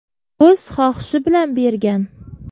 O‘z xohishi bilan bergan.